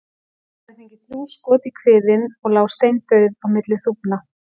Hún hafði fengið þrjú skot í kviðinn og lá steindauð á milli þúfna.